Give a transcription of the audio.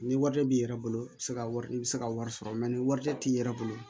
Ni wari b'i yɛrɛ bolo i bɛ se ka wari i bɛ se ka wari sɔrɔ ni warijɛ t'i yɛrɛ bolo